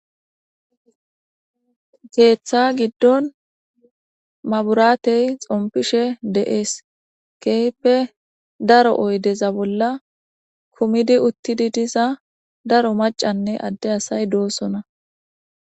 Keththa giddon manburatey xoomppishe de'es kehippe daro oyiddeza bolla kummidi uttidi diza daro maccanne adde asayi doosona.